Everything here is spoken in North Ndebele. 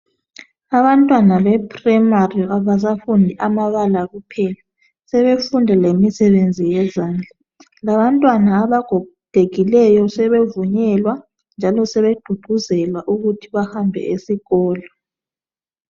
Abantwana bezinga eliphansi abasafundi amabala kuphela sebefunda imisebenzi yezandla, labantwana abagogekileyo sebegqugquzelwa ukuthi behambe esikolo